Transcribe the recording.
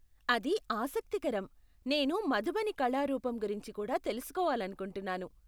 అది ఆసక్తికరం, నేను మధుబని కళా రూపం గురించి కూడా తెలుసుకొవాలనుకుంటున్నాను.